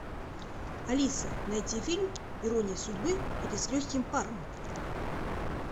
алиса найти фильм ирония судьбы или с легким паром